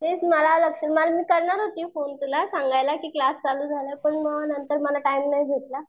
तेच मला लक्ष मी करणार होती फोन तुला सांगायला कि क्लास चालू झाला पण नंतर मला टाइम नाही भेटला.